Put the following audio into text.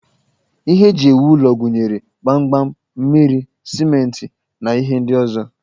Ihe eji ewu ụlọ gụnyere gbamgbam, mmiri, simenti, na ihe ndị ọzọ